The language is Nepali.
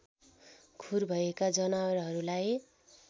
खुर भएका जनावरहरूलाई